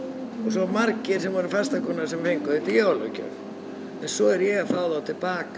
og margir sem voru fastakúnnar sem fengu þetta í jólagjöf svo er ég að fá þá til baka